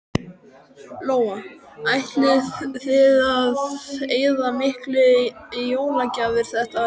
Lóa: Ætlið þið að eyða miklu í jólagjafir þetta árið?